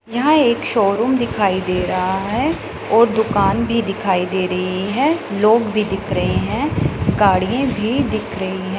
यहां एक शोरूम दिखाई दे रहा है और दुकान भी दिखाई दे रही है लोग भी दिख रहे हैं गाड़ियें भी दिख रही हैं।